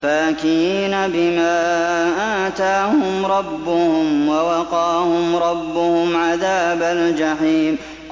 فَاكِهِينَ بِمَا آتَاهُمْ رَبُّهُمْ وَوَقَاهُمْ رَبُّهُمْ عَذَابَ الْجَحِيمِ